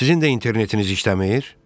Sizin də internetiniz işləmir?